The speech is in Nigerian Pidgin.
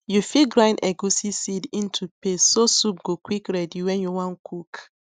you fit grind egusi seed into paste so soup go quick ready when you wan cook